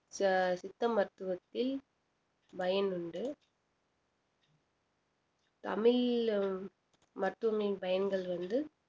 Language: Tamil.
ச~ சித்த மருத்துவத்தில் பயன் உண்டு தமிழ் மருத்துவங்களின் பயன்கள் வந்து